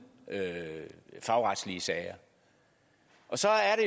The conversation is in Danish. fagretslige sager så er